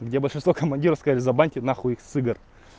где большинство командироров сказали забаньте нахуй их с игр